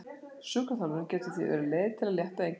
Sjúkraþjálfun getur því verið leið til að létta á einkennunum.